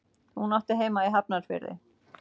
Hún átti heima í Hafnarfirði.